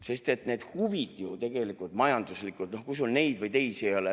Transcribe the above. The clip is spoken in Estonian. Need majanduslikud huvid on ju tegelikult, noh, et kui sul neid või teisi ei ole ...